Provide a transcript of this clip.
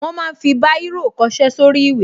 Wọ́n ma ń fi Báírò kọṣẹ́ sórí ìwé